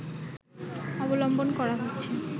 অবলম্বন করা হচ্ছে